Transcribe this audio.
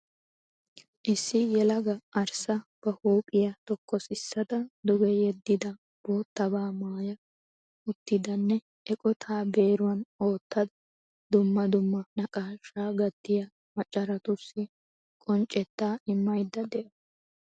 Issi yelagaa, arissa, ba huphphiya tokosissada duge yeddida boottabaa maaya utttidanne eqottaa beeruwan uttada dumma dumma naqaashshaa gattiya macaratuussi qonccettaa immayda dawusu.